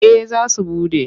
Eh za su buɗe.